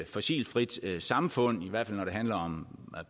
fossilfrit samfund i hvert fald når det handler om